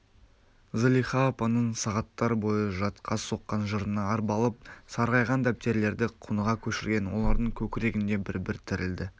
зылиха апаның сағаттар бойы жатқа соққан жырына арбалып сарғайған дәптерлерді құныға көшірген олардың көкірегінде бір-бір тірілді